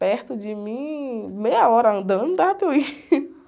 Perto de mim, meia hora andando, dava até eu ir.